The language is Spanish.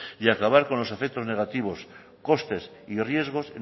y acabar con los efectos negativos costes y riesgos